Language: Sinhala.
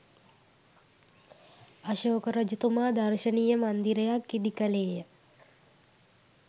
අශෝක රජතුමා දර්ශනීය මන්දිරයක් ඉදි කළේය.